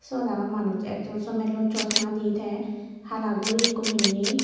sot araw manuj ekjon somelloi chosma di te hala guri ekko pinne.